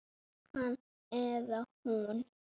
Hann eða hún